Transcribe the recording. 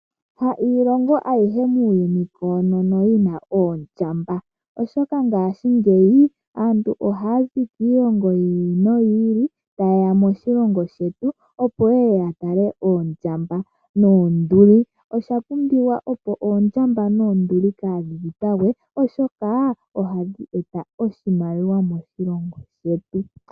Ha iilongo ayihe muuyuni koonono yina oondjamba, oshoka ngashingeyi aantu ohaa zi kiilongo yiili noyiili ta yeya moshilongo shetu, opo yeye ya tale oondjamba noonduli. Osha pumbiwa opo oondjamba noonduli kadhi dhipagwe , oshokaa ohadhi eta oshimaliwa moshilongo shetu.